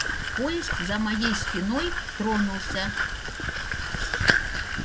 поезд за моей спиной тронулся